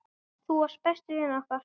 Þú varst besti vinur okkar.